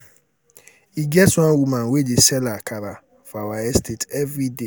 e get one woman wey dey sell akara for our estate every day.